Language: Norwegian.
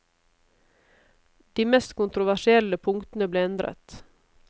De mest kontroversielle punktene ble endret.